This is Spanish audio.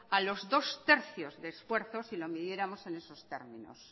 a los dos tercios de esfuerzos si lo midiéramos en esos términos